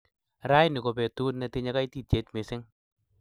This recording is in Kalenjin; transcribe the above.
raini ko petut netinye kaititiet missing